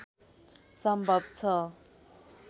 सम्भव छ